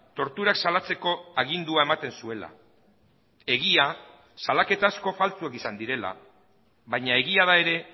torturak salatzeko agindua ematen zuela egia salaketa asko faltsuak izan direla baina egia da ere